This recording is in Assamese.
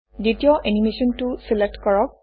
দ্বিতীয় এনিমেচনটো চিলেক্ট কৰক